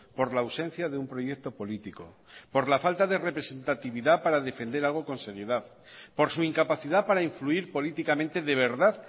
por la ausencia de un proyecto político por la falta de representatividad para defender algo con seriedad por su incapacidad para influir políticamente de verdad